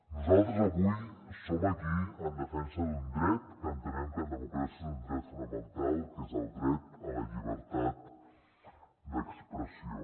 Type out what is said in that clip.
nosaltres avui som aquí en defensa d’un dret que entenem que en democràcia és un dret fonamental que és el dret a la llibertat d’expressió